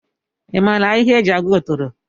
I maara ahịhịa e ji agwọ otoro?